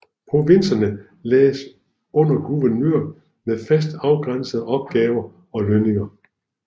Provinserne lagdes under guvernører med fast afgrænsede opgaver og lønninger